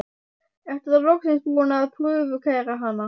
Ertu þá loksins búinn að prufukeyra hana?